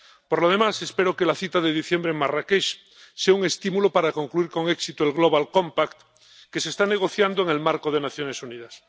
Por lo demás, espero que la cita de diciembre en Marrakech sea un estímulo para concluir con éxito el pacto mundial que se está negociando en el marco de las Naciones Unidas.